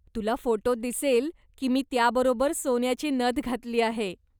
तुला फोटोत दिसेल की मी त्याबरोबर सोन्याची नथ घातली आहे.